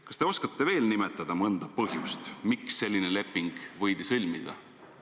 Kas te oskate veel nimetada mõnda põhjust, miks selline leping võidi sõlmida?